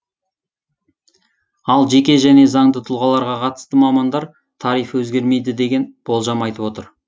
ал жеке және заңды тұлғаларға қатысты мамандар тариф өзгермейді деген болжам айтып отыр